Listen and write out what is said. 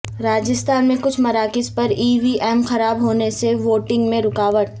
راجستھان میں کچھ مراکز پر ای وی ایم خراب ہونے سے ووٹنگ میں رکاوٹ